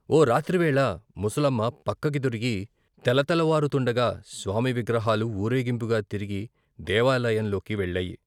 ఓ రాత్రివేళ ముసలమ్మ పక్కకి దొరిగి తెలతెలవారు తుండగా స్వామి విగ్రహాలు వూరేగింపుగా తిరిగి దేవాలయం లోకి వెళ్లాయి.